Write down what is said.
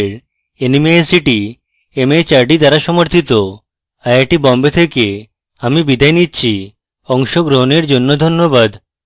I I T Bombay থেকে আমি বিদায় নিচ্ছি অংশগ্রহনের জন্যে ধন্যবাদ